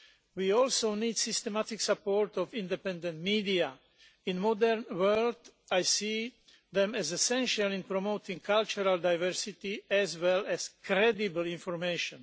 We also need the systematic support of independent media. In the modern world I see them as essential in promoting cultural diversity as well as credible information.